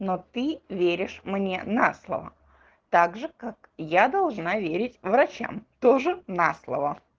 но ты веришь мне на слово так же как я должна верить врачам тоже на слово